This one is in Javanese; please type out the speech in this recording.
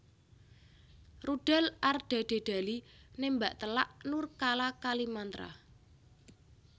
Rudal Ardadedali nembak telak Nurkala Kalimantra